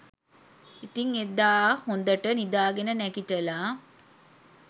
ඉතිං එදා හොඳට නිදාගෙන නැගිටලා